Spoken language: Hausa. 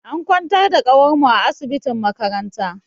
An kwantar da kawar mu a asibitin makaranta.